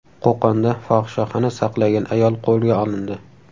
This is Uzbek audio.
Qo‘qonda fohishaxona saqlagan ayol qo‘lga olindi.